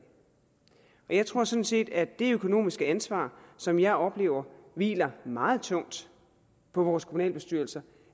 jeg tror sådan set at det økonomiske ansvar som jeg oplever hviler meget tungt på vores kommunalbestyrelser